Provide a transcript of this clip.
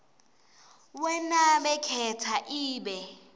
wenake khetsa ibe